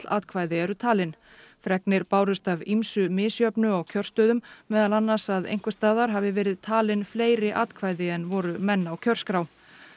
atkvæði eru talin fregnir bárust af ýmsu misjöfnu á kjörstöðum meðal annars að einhversstaðar hafi verið talin fleiri atkvæði en voru menn á kjörskrá